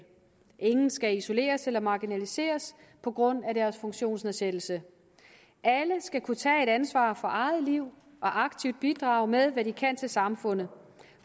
ingen skal isoleres eller marginaliseres på grund af deres funktionsnedsættelse alle skal kunne tage et ansvar for eget liv og aktivt bidrage med hvad de kan til samfundet